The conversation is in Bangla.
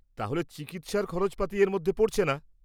তাহলে চিকিৎসার খরচাপাতি এর মধ্যে পড়ছে না?